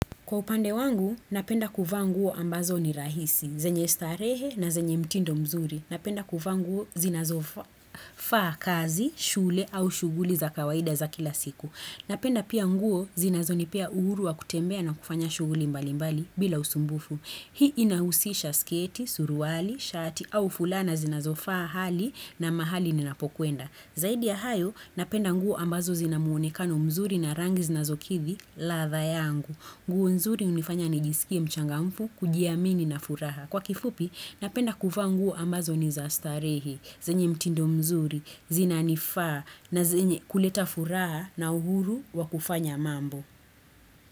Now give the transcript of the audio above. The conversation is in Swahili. Kwa upande wangu, napenda kuvaa nguo ambazo ni rahisi, zenye starehe na zenye mtindo mzuri. Napenda kuvaa nguo zinazofaa kazi, shule au shughuli za kawaida za kila siku. Napenda pia nguo zinazonipea uhuru wa kutembea na kufanya shughuli mbalimbali bila usumbufu. Hii inahusisha sketi, suruali, shati au fulana zinazofaa hali na mahali ninapokwenda. Zaidi ya hayo, napenda nguo ambazo zina muonekano mzuri na rangi zinazokidhi, ladha yangu. Nguo nzuri hunifanya nijisikie mchangamfu, kujiamini na furaha. Kwa kifupi, napenda kuvaa nguo ambazo ni za starehe, zenye mtindo mzuri, zinanifaa, na zenye kuleta furaha na uhuru wa kufanya mambo.